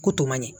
Ko to man ɲi